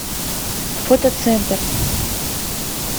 фотоцентр